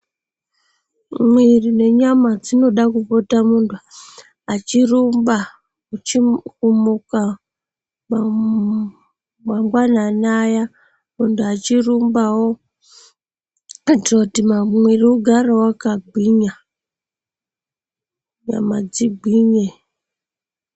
Mwiri nenyama dzinoda kupota muntu achirumba uchiri kumuka mangwanani ayani vachirumbawo kuitira kuti mwiri ugarewo wakagwinya nyama dzigwinye.